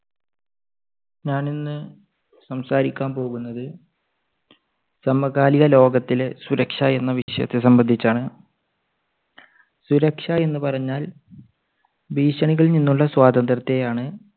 ഞാനിന്ന് സംസാരിക്കാൻ പോകുന്നത് സമകാലിക ലോകത്തിലെ സുരക്ഷ എന്ന വിഷയത്തെ സംബന്ധിച്ചാണ്. സുരക്ഷ എന്ന് പറഞ്ഞാൽ ഭീഷണികളിൽ നിന്നുള്ള സ്വാതന്ത്ര്യത്തെയാണ്.